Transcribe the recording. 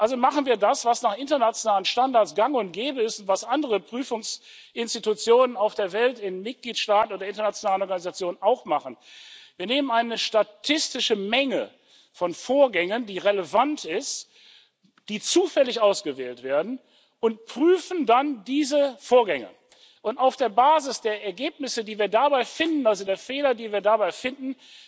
Also machen wir das, was nach internationalen Standards gang und gäbe ist, was andere Prüfungsinstitutionen auf der Welt, in Mitgliedstaaten oder internationalen Organisationen auch machen Wir nehmen eine relevant statistische Menge von Vorgängen, die zufällig ausgewählt werden, und prüfen dann diese Vorgänge, und auf der Basis der Ergebnisse, die wir dabei finden also der Fehler, die wir dabei finden